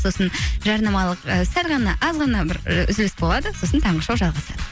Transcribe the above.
сосын жарнамалық і сәл ғана аз ғана бір і үзіліс болады сосын таңғы шоу жалғасады